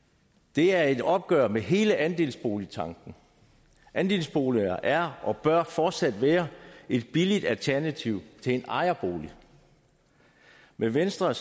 det er et opgør med hele andelsboligtanken andelsboliger er og bør fortsat være et billigt alternativ til en ejerbolig med venstre og